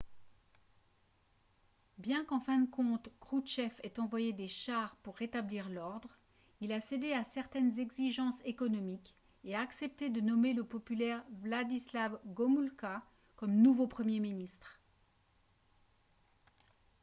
bien qu'en fin de compte kroutchev ait envoyé des chars pour rétablir l'ordre il a cédé à certaines exigences économiques et a accepté de nommer le populaire wladyslaw gomulka comme nouveau premier ministre